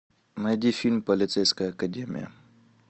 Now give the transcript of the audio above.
найди фильм полицейская академия